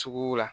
Sugu la